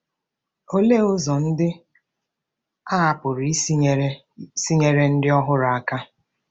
Olee ụzọ ndị a pụrụ isi nyere isi nyere ndị ọhụrụ aka?